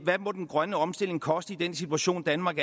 hvad den grønne omstilling måtte koste i den situation danmark